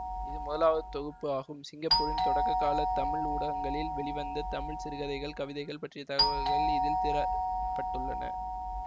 இது முதலாவது தொகுப்பு ஆகும் சிங்கப்பூரின் தொடக்க கால தமிழ் ஊடகங்களில் வெளி வந்த தமிழ் சிறுகதைகள் கவிதைகள் பற்றிய தகவல்கள் இதில் திர பட்டுள்ளன